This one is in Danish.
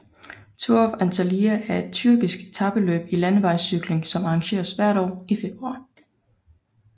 Tour of Antalya er et tyrkisk etapeløb i landevejscykling som arrangeres hvert år i februar